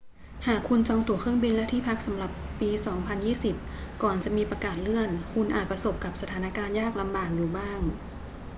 หากคุณจองตั๋วเครื่องบินและที่พักสำหรับปี 2020 ก่อนจะมีประกาศเลื่อน คุณอาจประสบกับสถานการณ์ยากลำบากอยู่บ้าง